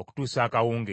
okutuusa akawungeezi.